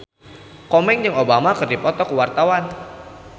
Komeng jeung Obama keur dipoto ku wartawan